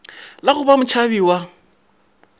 la go ba motšhabi wa